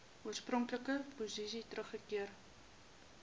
oorspronklike posisie teruggekeer